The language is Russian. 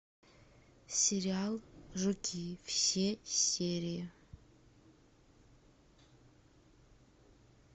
сериал жуки все серии